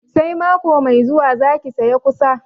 Sai mako mai zuwa za ki sayi kusa?